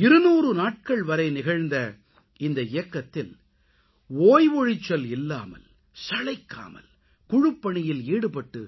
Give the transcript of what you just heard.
200 நாட்கள் வரை நிகழ்ந்த இந்த இயக்கத்தில் ஓய்வொழிச்சல் இல்லாமல் சளைக்காமல் குழுப்பணியில் ஈடுபட்டு